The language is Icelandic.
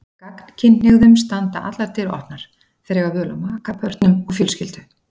Gagnkynhneigðum standa allar dyr opnar, þeir eiga völ á maka, börnum og fjölskyldu.